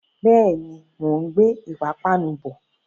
Bẹ́ẹ̀ni, mò ń gbé ìpapánu bọ̀.